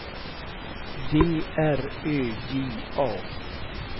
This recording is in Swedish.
D R Ö J A